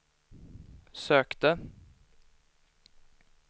sökte